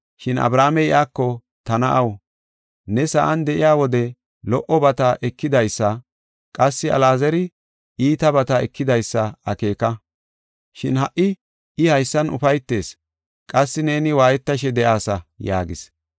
“Shin Abrahaamey iyako, ‘Ta na7aw, ne sa7an de7iya wode lo77obata ekidaysa, qassi Alaazari iitabata ekidaysa akeeka. Shin ha77i I haysan ufaytees, qassi neeni waayetashe de7aasa’ yaagis.